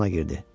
Dükana girdi.